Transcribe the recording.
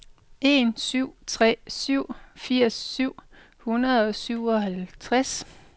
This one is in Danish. en syv tre syv firs syv hundrede og syvoghalvtreds